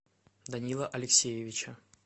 данила алексеевича